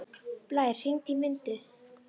Blær, hringdu í Mundu.